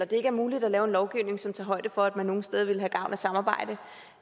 det ikke er muligt at lave en lovgivning som tager højde for at man nogle steder vil have gavn af samarbejde